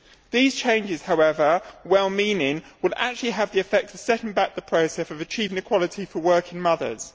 These changes, however well meaning, will actually have the effect of setting back the process of achieving equality for working mothers.